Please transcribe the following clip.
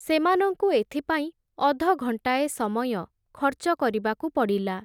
ସେମାନଙ୍କୁ ଏଥିପାଇଁ ଅଧଘଣ୍ଟାଏ ସମୟଁ ଖର୍ଚ୍ଚ କରିବାକୁ ପଡ଼ିଲା ।